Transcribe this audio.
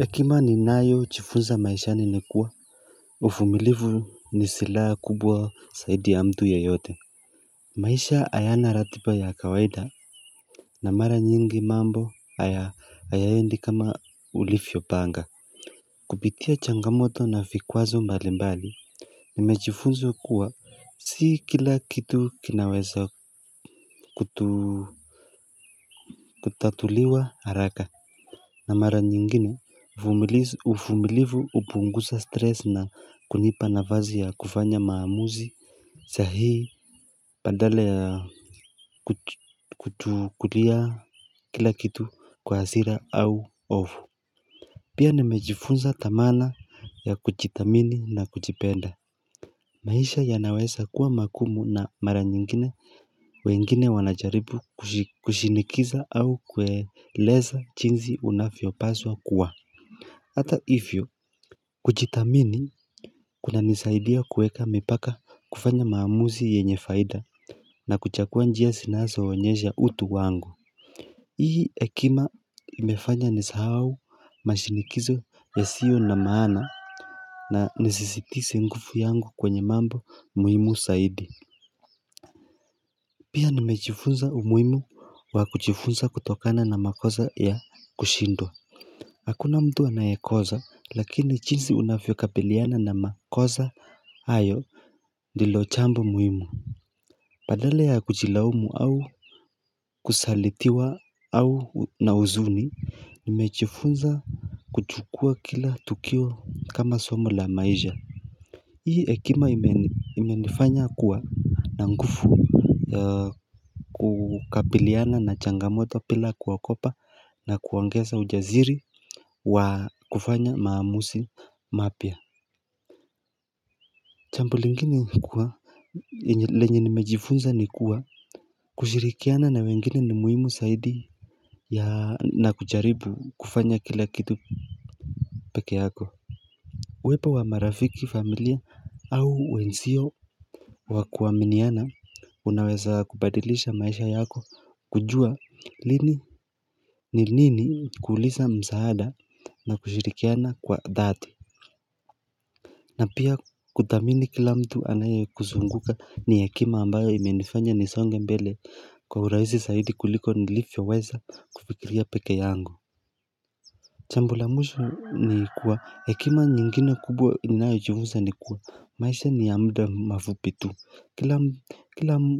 Hekima ninayojifunza maishani ni kuwa uvumilivu ni silaha kubwa zaidi ya mtu yeyote. Maisha hayana ratipa ya kawaida na mara nyingi mambo hayaendi kama ulivyopanga. Kupitia changamoto na viikwazo mbali mbali, Nimejifunza kuwa si kila kitu kinawezo kutu kutatuliwa haraka na mara nyingine, uvumilivu hupunguza stress na kunipa nafasi ya kufanya maamuzi, sahihi, Badala ya kuchukulia kila kitu kwa hasira au hofu Pia nimejifunza dhamana ya kujidhamini na kujiipenda. Maisha yanaweza kuwa magumu na mara nyingine, wengine wanajaribu kushinikiza au kueleza jinzi unavyopaswa kuwa Hata hivyo, kujidhamini kunanisaidia kuweka mpaka, kufanya maamuzi yenye faida na kuchagua njia zinazoonyesha utu wangu Hii hekima imefanya nisahau mashinikizo yasiyo na maana na nisisitize nguvu yangu kwenye mambo muhimu zaidi Pia nimejifunza umuhimu wa kuchifunza kutokana na makosa ya kushindwa Hakuna mtu anayekosa, lakini jinsi unavyokapiliana na makosa hayo ndilo jambo muhimu. Badala ya kujilaumu au kusalitiwa au na huzuni Nimejifunza kuchukua kila tukio kama somo la maisha. Hii hekima imenifanya kuwa na nguvu kukabiliana na changamoto bila kuogopa na kuongeza ujasiri wa kufanya maamuzi mapya. Jambu lingine ni kuwa lenye nimejifunza ni kuwa kushirikiana na wengine ni muhimu zaidi ya na kujaribu kufanya kila kitu peke yako. Uwepo wa marafiki, familia au wenzio wa kuaminiana unaweza kubadilisha maisha yako kujua lini ni nini kuuliza msaada na kushirikiana kwa dhati. Na pia kuthamini kila mtu anayekuzunguka ni hekima ambayo imenifanya nisonge mbele kwa uraisi zaidi kuliko nilivyoweza kufikiria pekee yangu. Jambo la mwisho ni kuwa, hekima nyingine kubwa inayojiuza ni kuwa maisha ni ya mda mafupi tu.